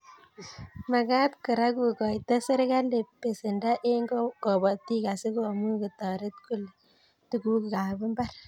Magat Kora kokoito serkali besend eng kobotik asikomuch kotoret kole tugukab mbar